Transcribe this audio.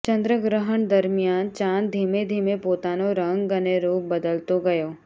ચંદ્રગ્રહણ દરમિયાન ચાંદ ધીમે ધીમે પોતાનો રંગ અને રૂપ બદલતો ગયો